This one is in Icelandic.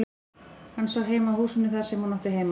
Hann sá heim að húsinu þar sem hún átti heima.